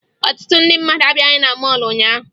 Ọtụtụ ndị mmadụ abịaghị na mọọlụ ụnyaahụ